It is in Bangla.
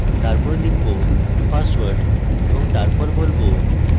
তারপর লিখব password এবং তারপর বলবো